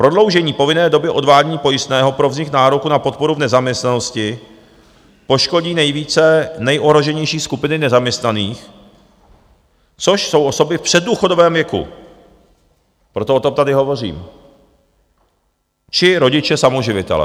Prodloužení povinné doby odvádění pojistného pro vznik nároku na podporu v nezaměstnanosti poškodí nejvíce nejohroženější skupiny nezaměstnaných, což jsou osoby v předdůchodovém věku, proto o tom tady hovořím, či rodiče samoživitelé.